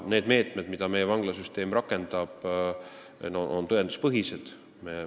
Need meetmed, mida meie vanglasüsteem rakendab, on tõenduspõhised.